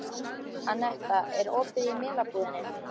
Annetta, er opið í Melabúðinni?